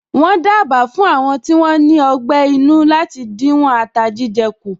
Wọ́n dábàá fún Àwọn tí wón ní ọgbé inú láti díwọ̀n ata jíjẹ kù